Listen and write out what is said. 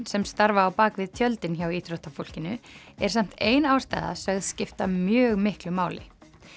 sem starfa á bak við tjöldin hjá íþróttafólkinu er samt ein ástæða sögð skipta mjög miklu máli